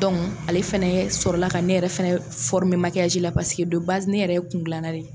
ale fɛnɛ ye sɔrɔ la ka ne yɛrɛ fɛnɛ makiyaji la paseke ne yɛrɛ ye kungilanna de ye.